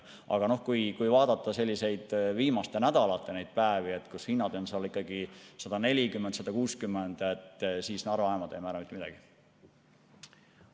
Aga kui vaadata viimaste nädalate neid päevi, kui hinnad olid 140–160, siis Narva jaamad ei määranud mitte midagi.